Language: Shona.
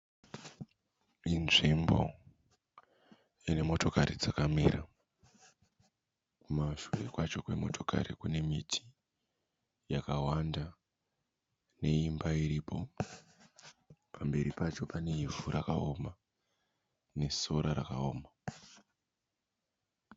Inzvimbo ine motokari dzakamira kumashure kwacho kwemotokari kune miti yakawanda neimba iripo pamberi pacho pane ivhu rakaoma nesora rakaoma.